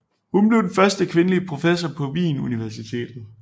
Hun blev den første kvindelige professor på Wien Universitet